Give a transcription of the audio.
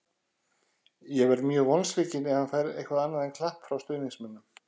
Ég verð mjög vonsvikinn ef hann fær eitthvað annað en klapp frá stuðningsmönnum.